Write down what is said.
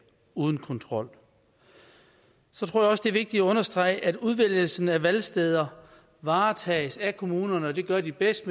uden kontrol jeg tror også det er vigtigt at understrege at udvælgelsen af valgsteder varetages af kommunerne og det gør de bedst